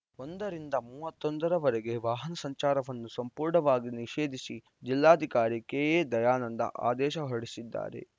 ಒಂದರಿಂದ ಮೂವತ್ತ್ ಒಂದರ ವರೆಗೆ ವಾಹನ ಸಂಚಾರವನ್ನು ಸಂಪೂರ್ಣವಾಗಿ ನಿಷೇಧಿಸಿ ಜಿಲ್ಲಾಧಿಕಾರಿ ಕೆಎದಯಾನಂದ ಆದೇಶ ಹೊರಡಿಸಿದ್ದಾರೆ